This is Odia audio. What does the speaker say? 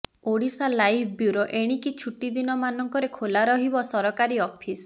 ଓଡ଼ିଶାଲାଇଭ୍ ବ୍ୟୁରୋ ଏଣିକି ଛୁଟିଦିନମାନଙ୍କରେ ଖୋଲା ରହିବ ସରକାରୀ ଅଫିସ୍